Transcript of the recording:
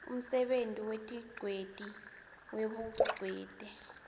umsebenti wetingcweti webungcweti